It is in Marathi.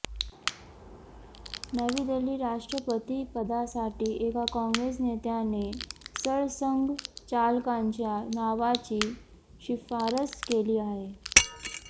नवी दिल्ली राष्ट्रपतीपदासाठी एका काँग्रेस नेत्याने सरसंघचालकांच्या नावाची शिफारस केली आहे